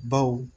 Baw